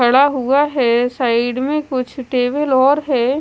पड़ा हुआ है साइड में कुछ टेबल और है।